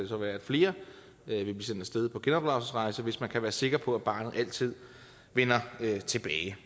så være at flere vil sendt af sted på genopdragelsesrejse hvis man kan være sikker på at barnet altid vender tilbage